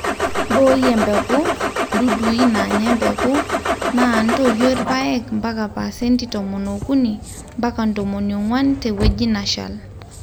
mbooi embusha ,dudui naanya embeku, naa ntoyio ilpaek mpaka paasenti tomon okuni mpaka tomon onguan tewueji nashal